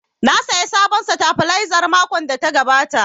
Na saya sabon sitabilizer makon da ya gabata